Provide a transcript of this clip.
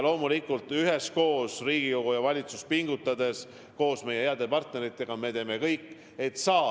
Loomulikult me üheskoos, Riigikogu ja valitsus koos pingutades teeme ühes meie heade partneritega kõik, et koroonaviirusest üle saada.